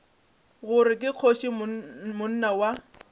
gore ke kgoši monna wa